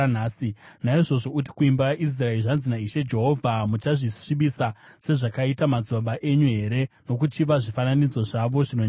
“Naizvozvo uti kuimba yaIsraeri, ‘Zvanzi naIshe Jehovha: Muchazvisvibisa sezvakaita madzibaba enyu here nokuchiva zvifananidzo zvavo zvinonyangadza?